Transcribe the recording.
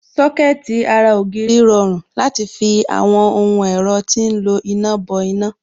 Sọ́kẹ̀tì ara ògiri rọrùn láti fi àwọn ohun ẹ̀rọ tí ń lo iná bọ iná